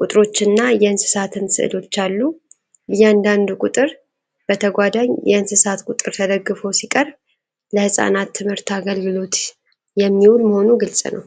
ቁጥሮችና የእንስሳትን ስዕሎች አሉ። እያንዳንዱ ቁጥር በተጓዳኝ የእንስሳት ቁጥር ተደግፎ ሲቀርብ፣ ለሕፃናት ትምህርት አገልግሎት የሚውል መሆኑ ግልጽ ነው።